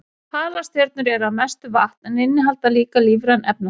Halastjörnur eru að mestu vatn en innihalda líka lífræn efnasambönd.